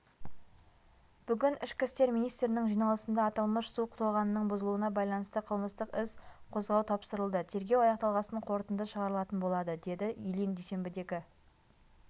бүгін ішкі істер министрінің жиналысында аталмыш су тоғанының бұзылуына байланысты қылмыстық іс қозғаутапсырылды тергеу аяқталғасын қорытынды шығарылатын болады дедію ильин дүйсенбідегі